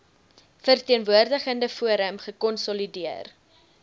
verteenwoordigende forum gekonsolideer